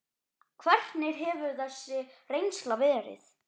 Hvernig hefur þessi reynsla verið?